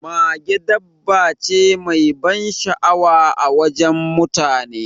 Mage dabba ce mai ban sha'awa a wajen mutane.